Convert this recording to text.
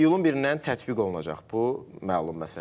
İyulun 1-dən tətbiq olunacaq bu məlum məsələdir.